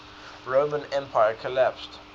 roman empire collapsed